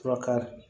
Furakari